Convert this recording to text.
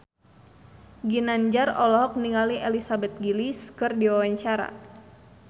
Ginanjar olohok ningali Elizabeth Gillies keur diwawancara